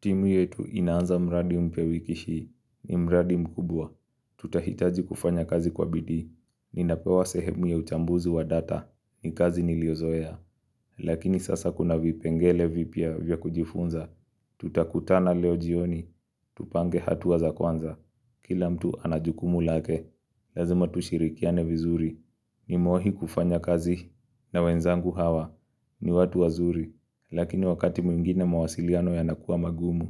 Timu yetu inaanza mradi mpya wiki hii ni mradi mkubwa. Tutahitaji kufanya kazi kwa bidii. Ninapewa sehemu ya uchambuzi wa data. Ni kazi niliyozoea. Lakini sasa kuna vipengele vipya vya kujifunza. Tutakutana leo jioni. Tupange hatua za kwanza. Kila mtu ana jukumu lake. Lazima tushirikiane vizuri. Nimewahi kufanya kazi na wenzangu hawa. Ni watu wazuri. Lakini wakati mwingine mawasiliano yanakuwa magumu.